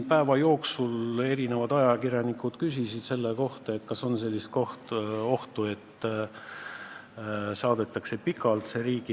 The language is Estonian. Päeva jooksul küsis minult mitu ajakirjanikku, kas on ohtu, et see riigieelarve saadetakse pikalt.